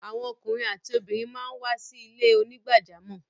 Awọn ọkùnrin àtí obìnrin màá ń wá sí ilẹ̀-onígbàjàmọ́.